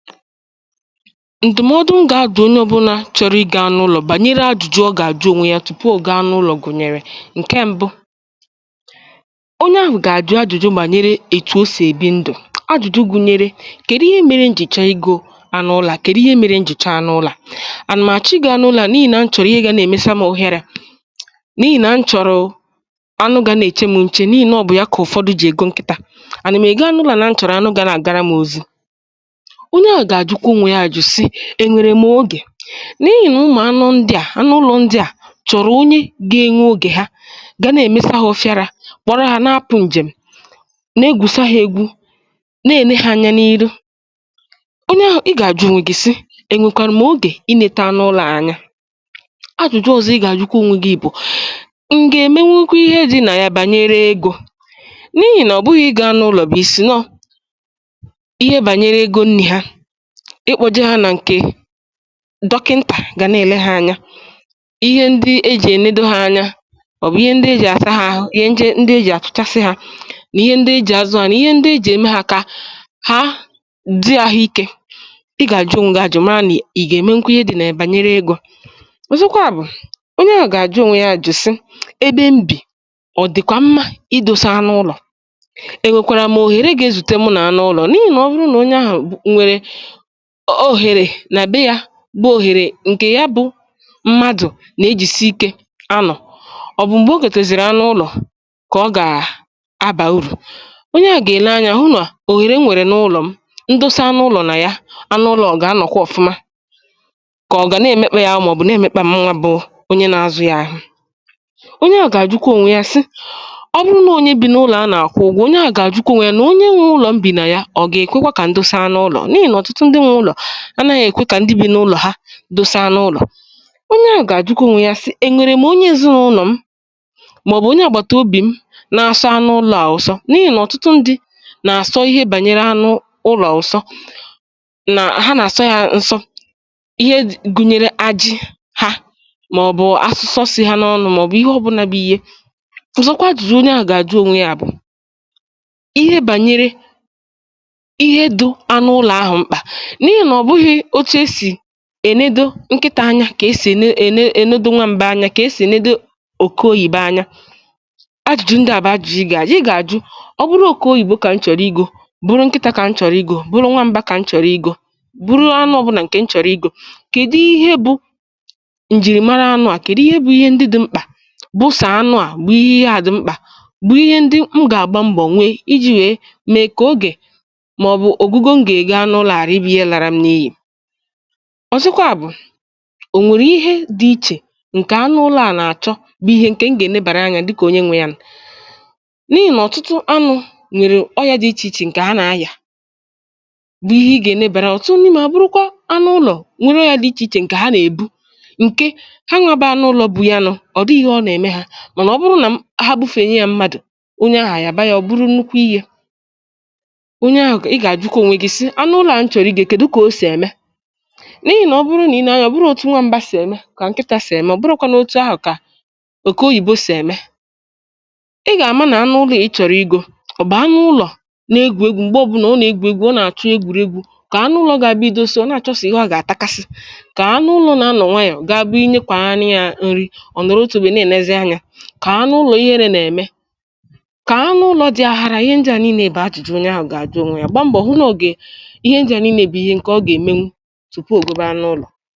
Ndụ̀mọdụ ngà-adụ̀ onye ọbụnà chọ̀rọ̀ ịgo anụ ụlọ̇ bànyere ajụ̇jụ ọ gà-àjụ ònwè ya tupu ọ gà-anụ ụlọ̇ gụ̀nyèrè ǹkẹ̀ mbụ; Ọnye ahụ̀ gà-àjụ̀ ajụ̇jụ̇ bànyere ètù o sì èbì ndụ̀, ajụ̀jụ gụ̀nyẹrẹ kèdu ihe mẹ̀rẹ̀ njì chọọ igȯ anụ ụlọ̀ a kẹ̀du ihe mẹ̀rẹ njì chọọ anụ ụlọ̇ à[uh], ànà m àchọọ ịgo anụ ụlọ̇ à n’ihì nà nchọ̀rọ ihe gȧ na-èmesa mà ụhịȧra, n’ihì nà nchọ̀rọ̀ anụ gȧ nà-èche m nchė n’ihì nà ọ bụ̀ ya kà ụ̀fọdụ jì ègo ṅkịtȧ, ànà m ego anụ ụlọ̇ à na nchọ̀rọ̀ anụ gȧ nà-àgara m ozi. Onye ahụ ga ajụkwa onwe ya ajụjụ sị eṅwèrè m ogè? n’ihi̇ nà ụmụ̀ anụ ndị à anụ ụlọ̇ ndị à chọ̀rọ̀ onye gȧ-ėnwe ogè ha gà nà-èmesa ha ofiarȧ, kpọ̀rọ hȧ nȧ-apụ̀ ǹjèm nà-egwùsa ha egwu, nà-ène hȧ anya n’iru. Onye ahụ̀ i gà-àjụ̇ ònwè gị̀ si ènwèkwàrà m ogè i nėtȧ anụ ụlọ̇ a anya?. Ajụ̀jụ ọ̀zọ ị gà-àjụkwa onwe gị̇ ̀ bụ̀ um m̀ gà-èmenwukwa ihe dị nà ya bànyere egȯ? n’ihi̇ nà ọ̀ bụghị̇ ịgo anụ ụlọ̀ bụ̀ i̇sị̀ nọọihe bànyere egȯ nni ha, ịkpọ̇je hȧ nà ǹkèdọkịntà gà na-èle ha anya, ihe ndị ejì ènedo ha anya, ma ọ̀ bụ̀ ihe ndị ejì àsà ha àhụ, ihe ndị ejì àsachasị ha nà ihe ndị ejì àzụ ha nà ihe ndị ejì ème ha kà ha dị ahụ̇ike, ị gà-àjụ ònwe gị àjụ mara nà ị gà-ème nwukwụ ihe dị̀ nà ya banyere egȯ. Ọzọkwa bụ̀ onye ahụ̀ gà-àjụ ònwe yȧ ajụ̀jụ sị ebe m bì ọ̀ dị̀kwà mma ị dȯsa anụ ụlọ̀, e nwèkwàrà m ohèrè gà-ezute mụ̇ nà anụ ụlọ̀ n’ihi nà ọ bụrụ nà onye ahụ nwere ọ̀ òhèrè nà be yȧ bụ̀ òhèrè ǹkè ya bụ m̀madụ̇ nà-ejìsi ike anọ̀ ọ̀bụ̀ m̀gbè o gotezìrì anọ̇ ụlọ̇ kà ọ gà-abà urù onye à gà-èle anya hụ nà òhèrè nwèrè n’ụlọ̀ m ǹdosa anụ ụlọ̇ nà ya anọ̀ ụlọ̀ a ọ ga anọ̀kwà ọ̀fụma, kà ọ̀ ga na-èmekpa ya arụ ma ọ bụ̀ na-èmekpa mụ nwa bụ̀ onye nà-azụ̇ yà ahụ. Onye à gà-àjụkwa ònwe ya sị ọ bụrụ nà onye bì n’ụlọ̀ ana akwụ ụgwọ, onye à gà-àjụkwa onwe ya à nà onye nwe ụlọ̀ m bì nà ya ọ̀ gà-èkwekwa kà ǹdosa anọ̇ ụlọ̀ n'ihi nà ọtụtụ ndị nwe ụlọ anaghị ekwe ka ndị bi n'ụlọ ha dosa anụ ụlọ. Onye ahụ̀ gà-àjụkwa onwe ya sì ènwèrè m onye èzinaụlọ̀ m, mà Abby onye àgbàtàobì m na-asọ anụ ụlọ̀ a ụsọ? n’ihì nà ọ̀tụtụ ndị̇ nà-àsọ ihe bànyere anụ ụlọ̀ ụ̀sọ nà ha nà-àsọ ya ǹsọ ihe ji gụ̀nyèrè àjị ha, màọbụ̀ asụsọ̇ sì ha n’ọnụ̇ mà ọbụ̀ ihe ọbụ̀là bụ̀ ihe. Ọzọkwa ajụ̇jù onye ahụ̀ gà-àjụ onwe ya bụ̀ ihe bànyere ihe dụ̇ anụ ụlọ̀ ahụ̀ mkpà n'ihi na ọbughi otu esi ènedo ǹkịtà anya kà esì ène ène ènedo nwa m̀ba anya, kà esì ènedo òke oyibo anya, àjụ̀ju̇ ǹdị à bụ ajụ̀jụ i gà-àjụ̀ ị ga ajụ, ọ bụrụ oke oyìbo kà m chọ̀rọ̀ igȯ, bụrụ nkịtȧ kà m chọ̀rọ̀ igȯ, bụrụ nwa m̀bà kà m chọ̀rọ̀ igȯ, bụrụ anụ ọbụna ǹkè m chọ̀rọ̀ igȯ, kèdụ ihe bụ ǹjìrìmara anụ a kèdụ ihe bụ ihe ndị dị̇ mkpà bụ sọ anụ a bụ ihe ihe a dụ mkpà bụ ihe ndị m gà-àgba mbọ̀ nwe iji̇ wee mèe kà ogè, ma ọ bụ ogigo ma ga ego anụ a ghara ị bụ ihe lara me n'iyi?. Ọzọ̀kwa bụ̀ ò nwèrè ihe dị̇ ichè ǹkè anụ ụlọ̇ à nà àchọ bụ̀ ihe ǹkè m gà-ènebàrà anya dịkà onye nwė yà nù?. N’ihi nà ọ̀tụtụ anụ̇ nwèrè ọyȧ dị̇ ichè ichè ǹkè ha nà-aya bụ̀ ihe i gà-ènebàrà anya, ọ̀tụtụ ndị mà ọ bụrụkwa anụ ụlọ̇ nwèrè oya dị̇ ichè ichè ǹkè ha nà-èbu, ǹkè ha nwa bụ anụ ụlọ̇ bụ̀ yà nù ọ̀ dịghị ihe ọ nà-ème ha, mànà ọ bụrụ nà ha bufènye ya mmadụ̀ onye ahụ̀ yà bayȧ ọ bụrụ nnukwu ihe. Ònye ahụ̀ ga ị gà-àjụkwa ònwè gị sị anụ ụlọ a m chọrọ I go kedu otu osi eme? n’ihi nà ọ bụrụ nà i nee anya ọ bụrọ òtù nwa mbà sì ème kà ǹkịtȧ sì ème ọ̀ bụrọkwanụ òtù ahụ̀ kà òkè oyìbo sì ème. Ị gà-ama nà anụ ụlọ̀ a ị chọ̀rọ̀ igȯ ọ̀ bụ̀ anụ ụlọ̀ nà egwù egwu m̀gbè ọ̀bụnà ọ nà-egwù egwù ọ nà-àchọ egwùrėgwu̇, kà anụ ụlọ̇ gà-àbịa idosa ọ̀ na-àchọsọ ihe ọ gà-àtakasị, kọ anụ ụlọ̀ nà anọ̀ nwayọ̀ gà-àbụ inye kwàrani yȧ ǹri ọ̀ nọ̀rọ̀ otu ebè nà-ènezi anyȧ, kà anụ ụlọ ihere nà-ème, kà anụ ụlọ̇ dị aghàrà. Ihe ǹdị à n'ii̇nė bụ ajụjụ onye ahụ̀ gà-ajụ ònwe yȧ gba mbọ̀ hụ nọọ̀ gà Ihe ndị a niile bụ ihe nke ọ ga emenwu tupu o gobe anụ ụlọ.